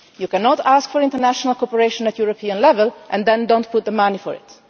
You cannot ask for international cooperation at European level and then not put up the money for